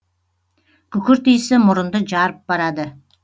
күкірт исі мұрынды жарып барады